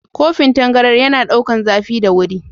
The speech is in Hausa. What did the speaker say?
Kofin tangaran yana ɗaukar zafi da wuri.